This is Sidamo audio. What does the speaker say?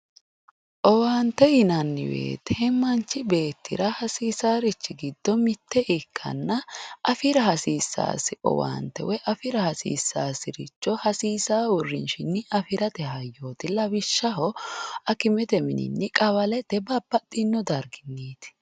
Owaante yinanni woyite manchu beettira hasiisaarichi giddo mitte ikkanna afira hasiissaasi owaante woy afira hasiissaasiricho hasiisaa uurrinshi afirate hayyooti. Lawishshaho akimete mininni, qawalete babbaxxino darginniiti.